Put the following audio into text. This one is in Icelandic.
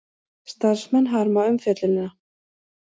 Starfsmenn harma umfjöllunina